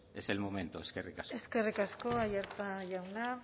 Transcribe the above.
es el momento eskerrik asko eskerrik asko aiartza jauna